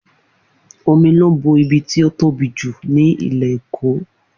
Omi ló bo ibi tí ó tóbi jù ní ilẹ̀ Èkó